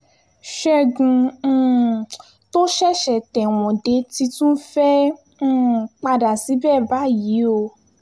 ṣẹ́gun um tó ṣẹ̀ṣẹ̀ tẹ̀wọ̀n dé ti tún fẹ́ẹ́ um padà síbẹ̀ báyìí o